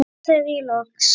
sagði ég loks.